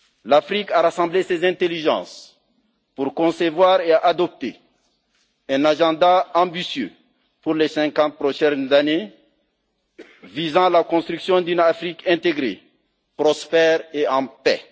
L'Afrique a rassemblé ses intelligences pour concevoir et adopter un agenda ambitieux pour les cinquante prochaines années, visant la construction d'une Afrique intégrée, prospère et en paix.